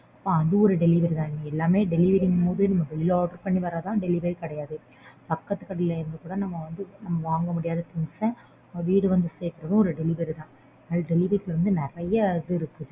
அது ஒரு delivery தான்டி எல்லாமே delivery ங்கும்போது நம்ம வெளில order பண்ணி வரதுதான் delivery ங்கறது கிடையாது பக்கத்து கடைல இருந்து கூட நம்ம வாங்க முடியாத things அ வீடு வந்து சேக்கறதும் delivery தான் delivery இதுல நறைய இது இருக்கு.